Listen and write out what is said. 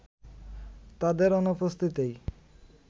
তাদের অনুপস্থিতিতেই